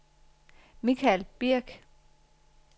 Michael Birk